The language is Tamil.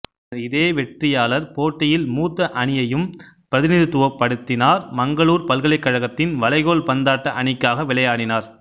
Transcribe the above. பின்னர் இதே வெற்றியாளர் போட்டியில் மூத்த அணியையும் பிரதிநிதித்துவப்படுத்தினார் மங்களூர் பல்கலைக்கழகத்தின் வளைகோல் பந்தாட்ட அணிக்காக விளையாடினார்